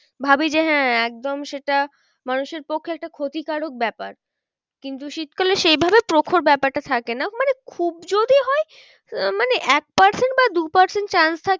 ভাবি যে হ্যাঁ একদম সেটা মানুষের পক্ষে একটা ক্ষতিকারক ব্যাপার কিন্তু শীতকালে সেই ভাবে প্রখর ব্যাপারটা থাকে না। মানে খুব যদি হয় আহ মানে এক percent বা দু percent থাকে